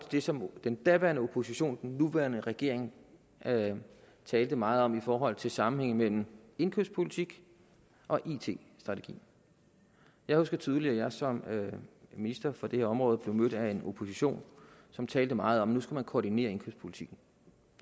det som den daværende opposition den nuværende regering talte meget om i forhold til sammenhængen mellem indkøbspolitik og it strategi jeg husker tydeligt at jeg som minister for det her område blev mødt af en opposition som talte meget om nu skulle koordinere indkøbspolitikken